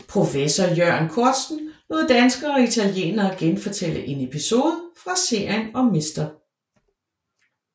Professor Iørn Korzen lod danskere og italienere genfortælle en episode fra serien om Mr